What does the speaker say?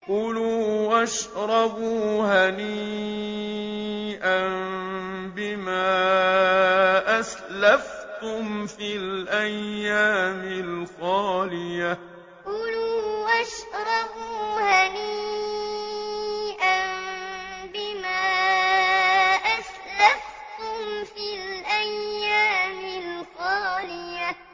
كُلُوا وَاشْرَبُوا هَنِيئًا بِمَا أَسْلَفْتُمْ فِي الْأَيَّامِ الْخَالِيَةِ كُلُوا وَاشْرَبُوا هَنِيئًا بِمَا أَسْلَفْتُمْ فِي الْأَيَّامِ الْخَالِيَةِ